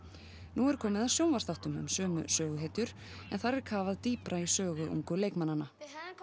nú er komið að sjónvarpsþáttum um sömu söguhetjur en þar er kafað dýpra ofan í sögu ungu leikmannanna